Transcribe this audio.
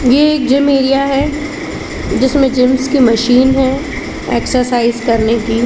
ये एक gym area है जिसमें जिम्स के मशीन हैं एक्सइरसाइज़ करने की।